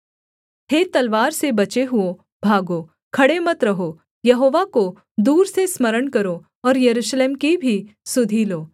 हे तलवार से बचे हुओं भागो खड़े मत रहो यहोवा को दूर से स्मरण करो और यरूशलेम की भी सुधि लो